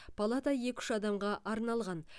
палата екі үш адамға арналған